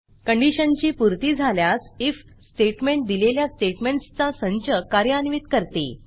कंडिशनची पूर्ती झाल्यास ifइफ स्टेटमेंट दिलेल्या स्टेटमेंटसचा संच कार्यान्वित करते